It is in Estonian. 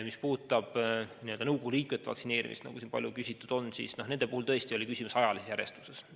Mis puudutab nõukogu liikmete vaktsineerimist, nagu siin palju küsitud on, siis nende puhul tõesti oli küsimus ajalises järjestuses.